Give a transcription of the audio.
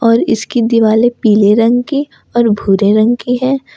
और इसकी दिवाले पीले रंग के और भूरे रंग की है।